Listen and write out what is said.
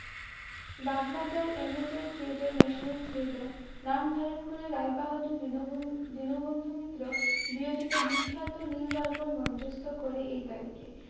Bagbajar amateur theatre national theatre নাম ধারণ করে রায়বাহাদুর দীনবন~দীনবন্ধু মিত্র বিরচিত বিখ্যাত নীলদর্পণ মঞ্চস্থ করে এই তারিখে।